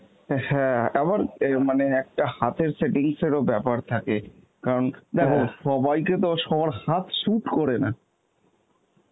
অ্যাঁ হ্যাঁ আবার অ্যাঁ মানে একটা হাতের settings এরও ব্যাপার থাকে, কারণ দেখো সবাইকে তো সবার হাত suite করে না.